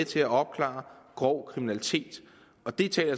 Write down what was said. til at opklare grov kriminalitet og det taler